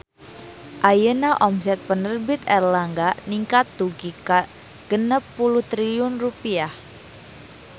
Ayeuna omset Penerbit Erlangga ningkat dugi ka 60 triliun rupiah